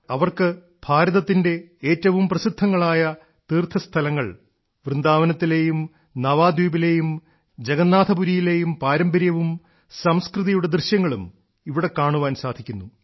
അവർക്ക് ഭാരതത്തിന്റെ ഏറ്റവും പ്രസിദ്ധങ്ങളായ തീർത്ഥസ്ഥലങ്ങൾ വൃന്ദാവനത്തിലെയും നവാദ്വീപിലെയും ജഗന്നാഥപുരിയിലെയും പാരമ്പര്യവും സംസ്കൃതിയുടെ ദൃശ്യങ്ങളും ഇവിടെ കാണാൻ സാധിക്കുന്നു